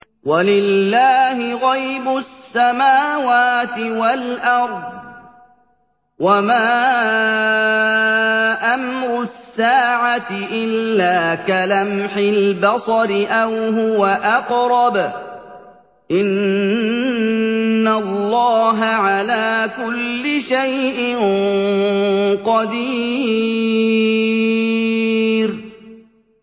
وَلِلَّهِ غَيْبُ السَّمَاوَاتِ وَالْأَرْضِ ۚ وَمَا أَمْرُ السَّاعَةِ إِلَّا كَلَمْحِ الْبَصَرِ أَوْ هُوَ أَقْرَبُ ۚ إِنَّ اللَّهَ عَلَىٰ كُلِّ شَيْءٍ قَدِيرٌ